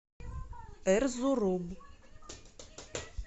эрзурум